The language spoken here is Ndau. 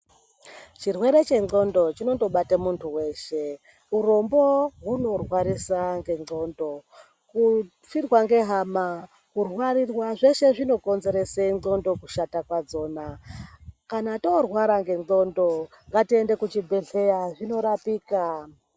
Chirwere chendhlondo chinondobata muntu weshe, urombo hunorwarisa ngendhlondo, kufirwa ngehama, kurwarirwa, zveshe zvikonzere ndhlondo kushata kwadzona. Kana torwara ngendhlondo , ngatiende kuchibhedhleya, zvinorapika.